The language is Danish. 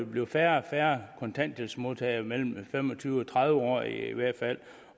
blive færre og færre kontanthjælpsmodtagere på mellem fem og tyve og tredive år i hvert fald